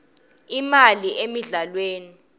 imali emidlalweni